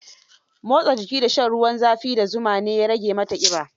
Motsa jiki da shan ruwan za fi da zuma ne ya rage mata ƙiba.